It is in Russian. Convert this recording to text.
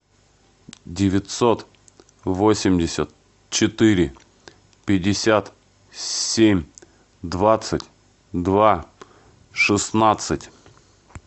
девятьсот восемьдесят четыре пятьдесят семь двадцать два шестнадцать